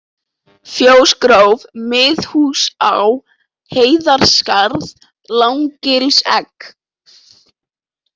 Fjósgróf, Miðhúsaá, Heiðarskarð, Langagilsegg